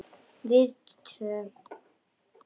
Við tvö.